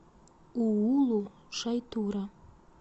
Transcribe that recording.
уулу шайтура